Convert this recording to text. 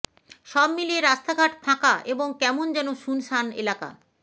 সব মিলিয়ে রাস্তাঘাট ফাকা এবং কেমন যেন শুনশান এলাকা